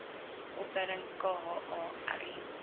opleiding kha ri